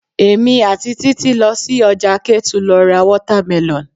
Èmi àti Títí lọ sí ọjà Ketu lọ ra watermelon.